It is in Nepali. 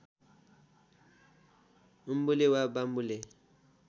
उम्बुले वा वाम्बुले